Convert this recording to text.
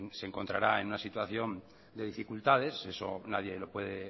se encontrará en situación de dificultades eso nadie lo puede